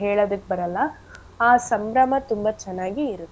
ಹೇಳದಿಕ್ ಬರಲ್ಲ ಆ ಸಂಭ್ರಮ ತುಂಬಾ ಚೆನ್ನಾಗಿ ಇರತ್ತೆ.